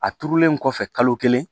A turulen kɔfɛ kalo kelen